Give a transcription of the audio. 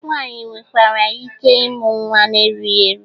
Nwaanyị nwekwara ike ịmụ nnwa n'erughi eru.